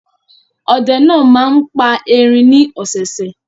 Ọdẹ náà máa ń pa erin ní ọ̀sẹ̀ẹ̀sẹ̀?